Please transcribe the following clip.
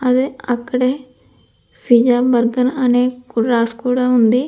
అదే అక్కడే pizza burger అనికూడా రాసి కూడా ఉంది.